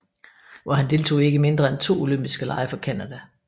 Hvor han deltog i ikke mindre end to olympiske lege for Canada